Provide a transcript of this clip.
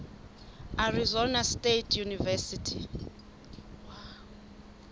arizona state university